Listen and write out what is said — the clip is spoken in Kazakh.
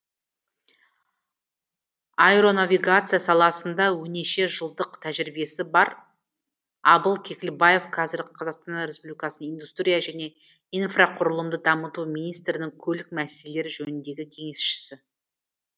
аэронавигация саласында оннеше жылдық тәжірибесі бар абыл кекілбаев қазір қазақстан республикасы индустрия және инфрақұрылымды дамыту министрінің көлік мәселелері жөніндегі кеңесшісі